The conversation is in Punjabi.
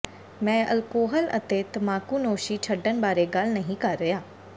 ਮੈਂ ਅਲਕੋਹਲ ਅਤੇ ਤਮਾਕੂਨੋਸ਼ੀ ਛੱਡਣ ਬਾਰੇ ਗੱਲ ਨਹੀਂ ਕਰ ਰਿਹਾ